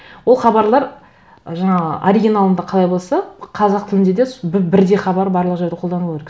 ол хабарлар жаңа оригиналында қалай болса қазақ тілінде де бірдей хабар барлық жерде қолдану керек